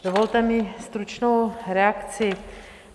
Dovolte mi stručnou reakci.